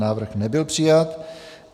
Návrh nebyl přijat.